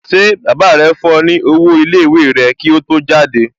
Ṣé baba rẹ fún ọ ní owó iléèwé rẹ kí ó tó jáde?